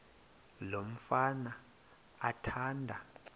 lo mfana athanda